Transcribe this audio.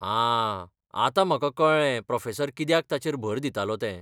आं, आतां म्हाका कळ्ळें प्रोफेसर कित्याक ताचेर भर दितालो तें.